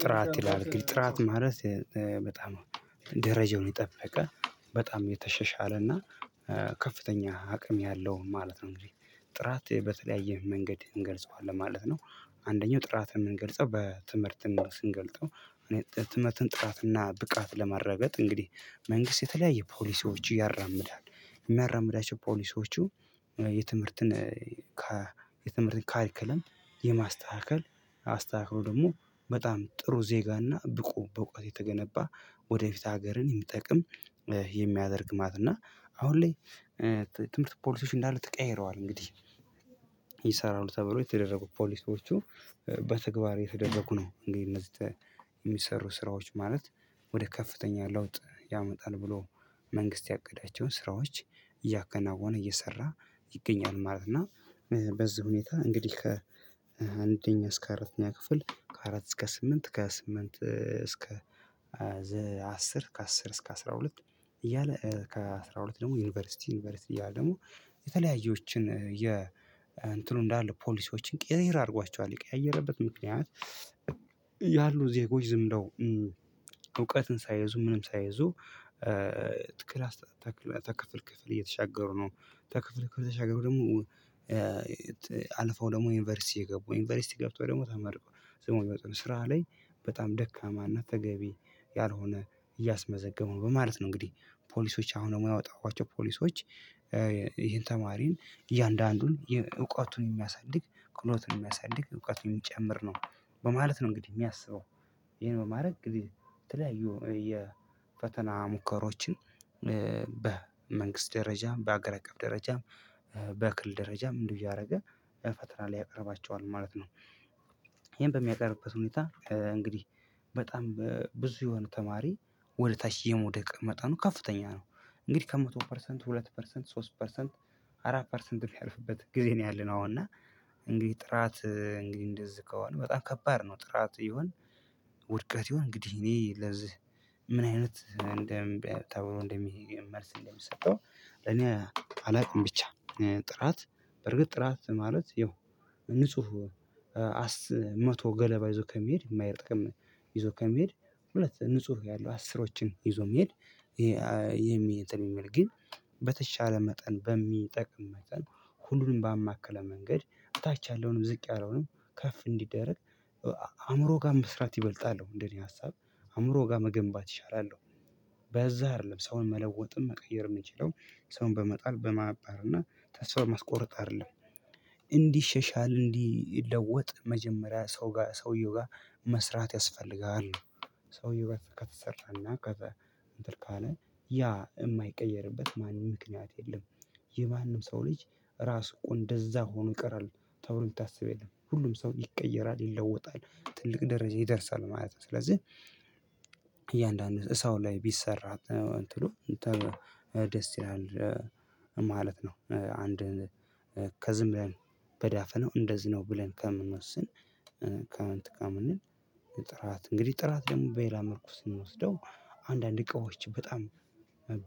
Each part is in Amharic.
ጥራት ይላል ግን ጥራት ማለት በጣም ደረጃውን የጠበቀ በጣም የተሸሻለ ከፍተኛ አቅም ያለውን ማለት ነው እንግዲህ ጥራት በተለያየ መንገድ እንገልጸዋለን ማለት ነው። አንደኛው ጥራት የምንገልጸው በትምህርት ስንገልጸው እኔ ትምህርትን ጥራትና ብቃት ለማረጋገጥ እንግዲህ መንግስት የተለያየ ፖሊሶች ያራምዳል። የሚያራምዳቸው ፖሊሶቹ። የትምህርትን የትምህርትን ካሪኩለም የማስተካከል አስተካከሉ ደግሞ በጣም ጥሩ ዜጋና ብቁ በእውቀት የተገነባ ወደፊት ሀገርን የሚጠቅም የሚያደርግ ማትና እና አሁን ላይ ትምህርት ፖሊሶች እንዳሉ ተቀያይረዋል እንግዲህ ይሰራሉ ተብሎ የተደረጉ ፖሊሶቹ በተግባር የተደረጉ ነው። እንግዲህ እነዚህ የሚሰሩ ስራዎች ማለት ወደ ከፍተኛ ለውጥ ያመጣል ብሎ መንግስት ያቀዳቸውን ስራዎች እያከናወነ እየሰራ ይገኛል ማለት ነው። እና በዚህ ሁኔታ እንግዲህ ከአንደኛ እስከ አራተኛ ክፍል ከአራት እስከ ስምንት ከስምንት እስከ አስር ከአስር እስከ አስራ ሁለት እያለ ከአስራ ሁለት ደግሞ ዩኒቨርሲቲ ዩኒቨርሲቲ እያለ ደግሞ የተለያየዎችን የ እንትኑ እንዳለ ፖሊሲዎችን ቅይርይር አድርጓቸዋል የቀያየረበት ምክንያት። ያሉ ዜጎች ዝም ብለው እውቀትን ሳይዙ ምንም ሳይዙ ከክላስ ተካላስ ክፍል ክፍል እየተሻገሩ ነው። ክፍል ክፍል ተሻገሩ ደግሞ አልፎ ደግሞ ዩኒቨርሲቲ የገቡ ዩኒቨርሲቲ ገብቶ ደግሞ ተመርቆ ዝም ብለው ስራ ላይ በጣም ደካማና ተገቢ ያልሆነ እያስመዘገመው በማለት ነው። እንግዲህ ፖሊሶች አሁን የማያወጣኋቸው ፖሊሶች ይሄን ተማሪን እያንዳንዱን እውቀቱን የሚያሳድግ ክህሎትን የሚያሳድግ እውቀቱን የሚጨምር ነው በማለት ነው እንግዲህ የሚያስበው ይሄን በማድረግ የተለያዩ የፈተና ሙከራዎችን በመንግስት ደረጃም በአገር አቀፍ ደረጃም በክልል ደረጃም እንደው ያደረገ ለፈተና ሊያቀርባቸዋል ማለት ነው። ይሄን በሚያቀርብበት ሁኔታ እንግዲህ በጣም ብዙ የሆነ ተማሪ ወደ ታች የመውደቅ መጣኑ ከፍተኛ ነው። እንግዲህ ከመቶ ፐርሰንት ሁለት ፐርሰንት ሶስት ፐርሰንት አራት ፐርሰንት የሚያልፍበት ጊዜ ነው ያለነው አሁን እና። እንግዲህ ጥራት እንግዲህ እንደዚህ ከሆነ በጣም ከባድ ነው ጥራት ይሁን ውድቀት ይሁን እንግዲህ እኔ ለዚህ ምን አይነት እንደ ተብሎ እንድ መልስ እንደሚሰጠው እኔ አላውቅም። ብቻ ጥራት በርግጥ ጥራት ማለት ያው ንጹህ መቶ ገለባ ይዞ ከመሄድ የማይረጥቅም ይዞ ከሚሄድ ሁለት ንጹህ ያለው አስሮችን ይዞ የሚሄድ የሚሄድ የሚል ግን በተሻለ መጠን በሚጠቅም መጠን ሁሉንም ባማከለ መንገድ ታች ያለውንም ዝቅ ያለውንም ከፍ እንዲደረግ አእምሮ ጋር መስራት ይበልጣለሁ እንደኔ ሀሳብ አእምሮ ጋር መገንባት ይሻላል። በዛ አይደለም ሰውን መለወጥም መቀየር የምንችለው ሰውን በመጣል በማባር እና ተስፋ ማስቆርጥ አይደለም። እንዲህ ሻሻል እንዲለወጥ መጀመሪያ ሰው ጋር ሰውየው ጋር መስራት ያስፈልጋል። ሰውዬ ከተሰራና ከተ ካለ ያ የማይቀየርበት ማንም ምክንያት የለም። የማንም ሰው ልጅ ራስ እንደዛ ሆኖ ይቀራል ተብሎ የሚታስብ የለም ሁሉም ሰው ይቀየራል ይለወጣል። ትልቅ ደረጃ ይደርሳል ማለት ነው። ስለዚህ እያንዳንዱ ሰው ላይ ቢሰራ እንትኑ ደስ ይላል ማለት ነው። አንድ ከዝም ብለን በዳፈ ነው እንደዚህ ነው ብለን ከምንወስን እንትን ከምንል። ጥራት እንግዲህ ጥራት ደግሞ በሌላ መልኩ ስንወስደው አንዳንድ እቃዎች በጣም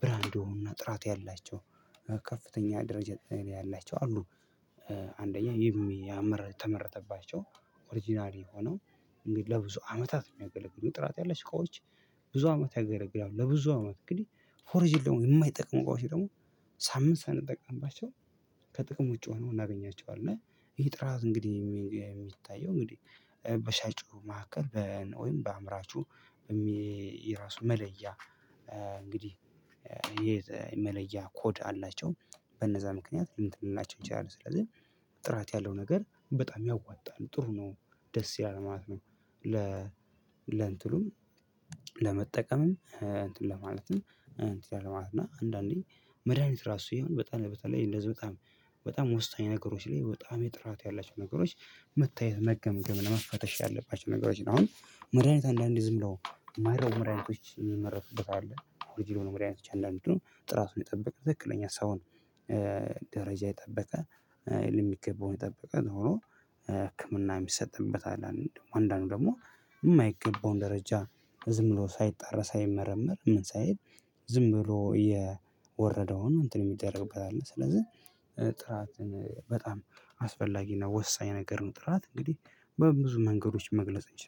ብራንድ የሆኑና ጥራት ያላቸው ከፍተኛ ደረጃ ያላቸው አሉ። አንደኛ የሚያምር ተመረጠባቸው ኦሪጅናሊ የሆነው እንግዲህ ለብዙ አመታት የሚያገለግሉ ጥራት ያለች ስቃዎች ብዙ አመት ያገለግላሉ። ለብዙ አመት እንግዲህ ፎርጅል ደግሞ የማይጠቅሙ እቃዎች ደግሞ ሳምንት ሳንጠቅምባቸው ከጥቅሞ ውጭ ሁነው አናገኛቸዋለን እና። ይሄ ጥራት እንግዲህ የሚታየው እንግዲህ በሻጩ መካከል ወይም በአምራቹ ራሱ መለያ እንግዲህ የመለያ ኮድ አላቸው በነዛ ምክንያት እንትን ልንላቸው እንችላለን ስለዚህ ጥራት ያለው ነገር በጣም ያዋጣሉ ጥሩ ነው። ደስ ያለ ማለት ነው። ለ ለእንትኑም ለመጠቀምም እንትን ለማለትም እንትን ለማለት እና አንዳንዴ መድሃኒት ራሱ ይሁን በጣም በጣም እንደዚህ በጣም በጣም ወስኝ ነገሮች ላይ በጣም የጥራት ያላቸው ነገሮች መታየት መገምገም ለመፈተሽ ያለባቸው ነገሮች ነው። አሁን መድሃኒት አንዳንዴ ዝም ብለው የማይረቡ መርድሃኒቶች የሚመረቱበት አለ አሁን ድሮ ነው መድኃኒቶች አንዳንዱ ጥራቱን የጠበቀ ትክክለኛ ሰውን ደረጃ የጠበቀ የገበውን የጠበቀ ሆኖ ህክምና የሚሰጥበት አለ። አንዳንዱ ደግሞ የማይገባውን ደረጃ ዝም ብሎ ሳይጣረስ አይመረመር ምን ሳይሄድ ዝም ብሎ የወረደውን እንትን የሚደረግበት አለ። ስለዚህ ጥራትን በጣም አስፈላጊ እና ወሳኝ ነገር ነው። ጥራት እንግዲህ በብዙ መንገዶች መግለጽ እንችላለን